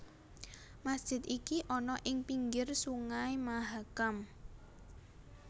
Masjid iki ana ing pinggir Sungai Mahakam